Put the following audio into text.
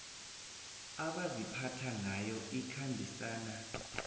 abaziphatha ngayo ikhambisana